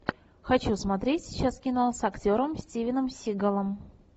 хочу смотреть сейчас кино с актером стивеном сигалом